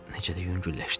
Necə də yüngülləşdim!